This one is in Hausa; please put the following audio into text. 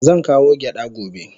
Zan kawo gyada gobe.